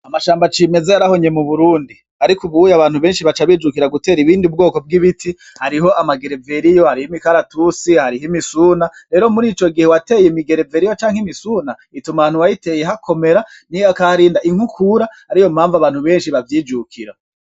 Amashamba cimeza yarahonye mu Burundi, ariko ubuye abantu benshi baca bijukira gutera ubundi bwoko bw'ibiti, hariho amagereveriyo, hariho imikaratusi, hariho imisuna, rero muri ico gihe wateye imigereveriyo canke imisuna, ituma ahantu wayiteye hakomera, hakaharinda inkukura, ariyo mpamvu abantu benshi bavyijukira.